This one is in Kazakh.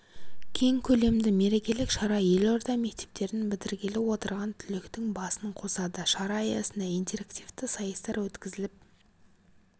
кең көлемді мерекелік шара елорда мектептерін бітіргелі отырған түлектің басын қосады шара аясында интерактивті сайыстар өткізіліп